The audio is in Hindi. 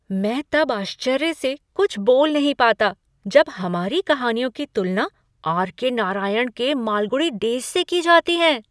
मैं तब आश्चर्य से कुछ बोल नहीं पता जब हमारे कहानियों की तुलना आर.के. नारायण के मालगुडी डेज़ से की जाती हैं!